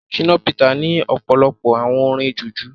Shina peter ní ọ̀pọ̀lọpọ̀ àwo orin jùjú.